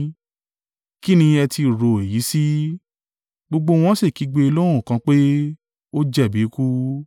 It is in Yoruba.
Ki ni ẹ ti rò èyí sí. Gbogbo wọn sì kígbe lọ́hùn kan pé, “Ó jẹ̀bi ikú!”